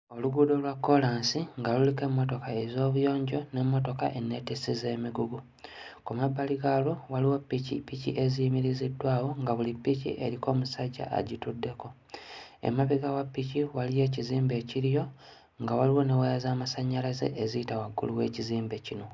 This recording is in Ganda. Oluguudo lwa kkoolansi nga luliko emmotoka ez'obuyonjo n'emmotoka enneetissi z'emigugu. Ku mabbali gaalwo waliwo ppikippiki eziyimiriziddwawo nga buli ppiki eriko omusajja agituddeko. Emabega wa ppiki waliyo ekizimbe ekiriyo nga waliwo ne waya z'amasannyalaze eziyita waggulu w'ekizimbe kino.